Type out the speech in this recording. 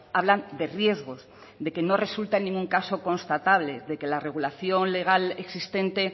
hablan de riesgos de que no resulta en ningún caso constatable de que la regulación legal existente